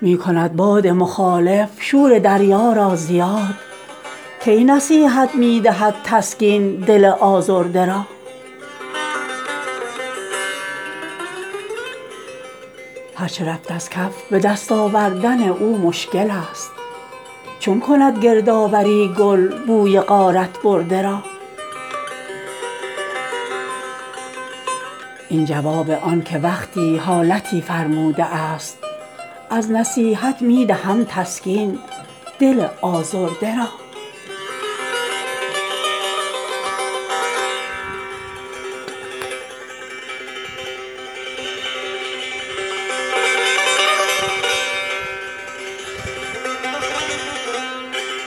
می کند باد مخالف شور دریا را زیاد کی نصیحت می دهد تسکین دل آزرده را هر چه رفت از کف به دست آوردن او مشکل است چون کند گردآوری گل بوی غارت برده را این جواب آن که وقتی حالتی فرموده است از نصیحت می دهم تسکین دل آزرده را